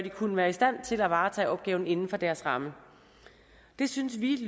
kunne være i stand til at varetage opgaven inden for deres ramme det synes vi